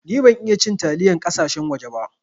Ni ban iya cin taliyar kasashen waje ba.